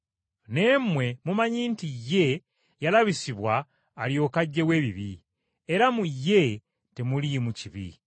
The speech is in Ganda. Naye mmwe mumanyi nti ye, yalabisibwa alyoke aggyewo ebibi. Era mu ye, temuliimu kibi.